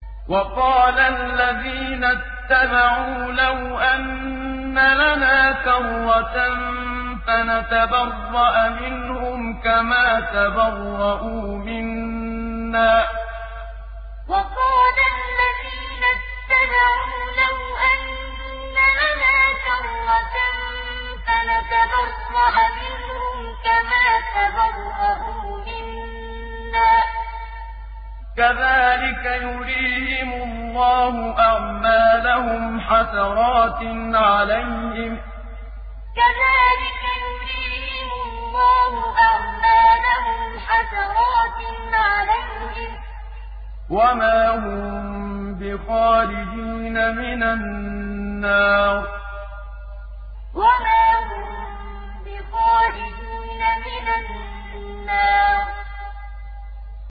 وَقَالَ الَّذِينَ اتَّبَعُوا لَوْ أَنَّ لَنَا كَرَّةً فَنَتَبَرَّأَ مِنْهُمْ كَمَا تَبَرَّءُوا مِنَّا ۗ كَذَٰلِكَ يُرِيهِمُ اللَّهُ أَعْمَالَهُمْ حَسَرَاتٍ عَلَيْهِمْ ۖ وَمَا هُم بِخَارِجِينَ مِنَ النَّارِ وَقَالَ الَّذِينَ اتَّبَعُوا لَوْ أَنَّ لَنَا كَرَّةً فَنَتَبَرَّأَ مِنْهُمْ كَمَا تَبَرَّءُوا مِنَّا ۗ كَذَٰلِكَ يُرِيهِمُ اللَّهُ أَعْمَالَهُمْ حَسَرَاتٍ عَلَيْهِمْ ۖ وَمَا هُم بِخَارِجِينَ مِنَ النَّارِ